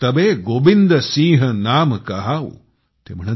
तबे गोबिंदसिंह नाम कहाऊँ ।